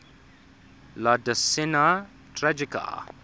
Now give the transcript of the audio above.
la decena tragica